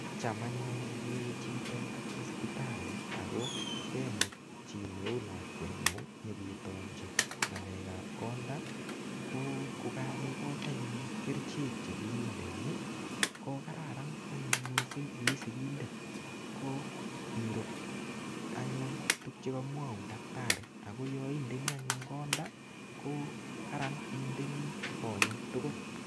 Cham anyun ngokewe chito hosipital i, ako akemut chii neuu lakwet ng'ung', nyiketonchi ng'alekap konda, ko kakekochi anyun kerichek che kindeni. Ko kararan anyun missing ii sigindet, ko irup anyun tuguk che kamwaun daktari. Ako yaindeni anyun konda, ko kararan indeni konyek tugul.